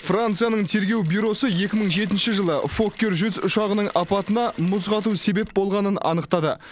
францияның тергеу бюросы екі мың жетінші жылы фоккер жүз ұшағының апатына мұз қату себеп болғанын анықтады